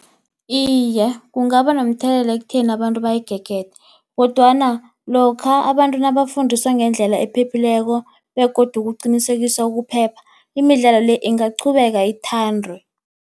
Iye, kungaba nomthelela ekutheni abantu bayigegede, kodwana lokha abantu nabafundiswa ngendlela ephephileko begodu kuqinisekiswa ukuphepha. Imidlalo le, ingaqhubeka ithandwe.